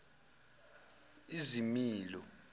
izimilo